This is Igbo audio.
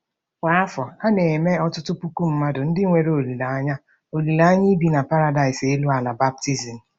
Kwa afọ, a na-eme ọtụtụ puku mmadụ ndị nwere olileanya olileanya ibi na paradaịs elu ala baptizim.